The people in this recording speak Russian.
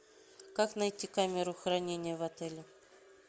как найти камеру хранения в отеле